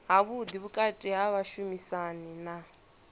havhuḓi vhukati ha vhashumisani na